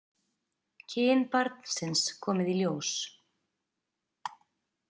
Kyn barnsins komið í ljós